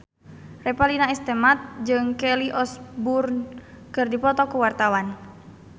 Revalina S. Temat jeung Kelly Osbourne keur dipoto ku wartawan